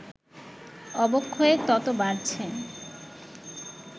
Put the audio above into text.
অবক্ষয় তত বাড়ছে